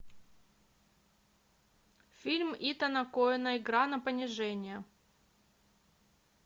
фильм итана коэна игра на понижение